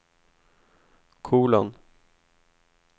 kolon